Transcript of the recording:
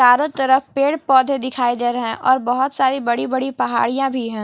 चारों तरफ पेड़-पौधे दिखाई दे रहे है और बहोत सारी बड़ी-बड़ी पहाड़ियां भी है।